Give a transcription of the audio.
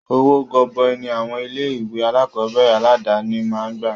Owó gọbọi ní àwọn ilé ìwé alákọ̀berẹ̀ aládàni máa ń gbà.